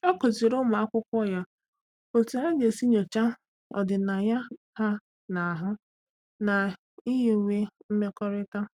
Ọ́ kụ́zị̀rị̀ ụ́mụ́ ákwụ́kwọ́ ya otú há gà-èsí nyòcháá ọ́dị́nàya há nà-àhụ́ na nyiwe mmekọrịta.